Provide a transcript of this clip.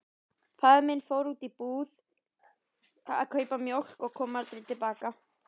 Mánuði síðar hljópst faðir minn að heiman.